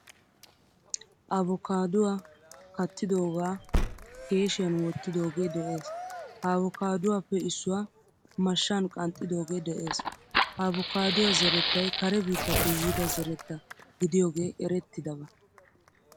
Avokkaduwaa kattidogaa keeshiyan wottidoge de'ees. Ha avokkaduwappe issuwaa mashshan qanxxidoge de'ees. Ha avokkaduwaa zerettay kare biittappe yiida zeretta gidiyoge erettidaba.